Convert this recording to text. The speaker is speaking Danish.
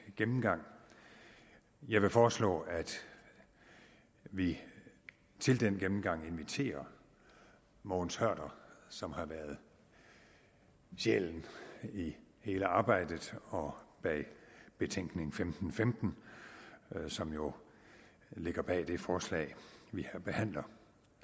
gennemgang jeg vil foreslå at vi til den gennemgang inviterer mogens hørder som har været sjælen i hele arbejdet og bag betænkning femten femten som jo ligger bag det forslag vi behandler